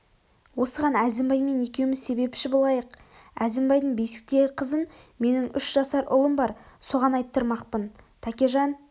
осыған әзімбаймен екеуміз себепші болайық әзімбайдың бесіктегі қызын менің үш жасар ұлым бар соған айттырмақпын тәкежан